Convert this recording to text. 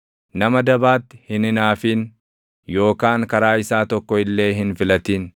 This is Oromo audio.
Nama dabaatti hin hinaafin; yookaan karaa isaa tokko illee hin filatin.